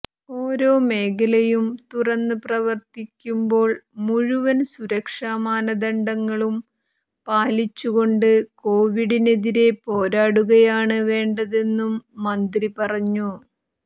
ഓരോ മേഖലയും തുറന്ന് പ്രവർത്തിക്കുമ്പോൾ മുഴുവൻ സുരക്ഷ മാനദണ്ഡങ്ങളും പാലിച്ചുകൊണ്ട് കോവിഡിനെതിരെ പോരാടുകയാണ് വേണ്ടതെന്നും മന്ത്രി പറഞ്ഞു